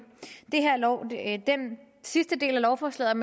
den sidste del af lovforslaget